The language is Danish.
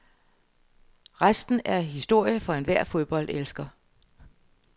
Resten er historie for enhver fodboldelsker.